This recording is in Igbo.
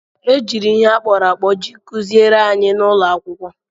E jiri ihe akpụrụ akpụ ji kụziere anyị n'ụlọ akwụkwọ.